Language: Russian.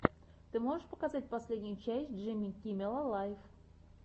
ты можешь показать последнюю часть джимми киммела лайв